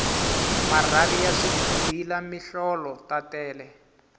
marhavi ya swighila mihlolo ta tele